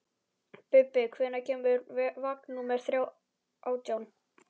Bubbi, hvenær kemur vagn númer átján?